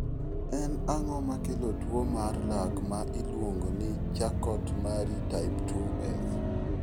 En ang'o makelo tuwo mar lak mar miluongo ni Charcot Marie type 2F?